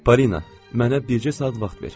Polina, mənə bircə saat vaxt ver.